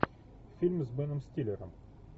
фильмы с беном стиллером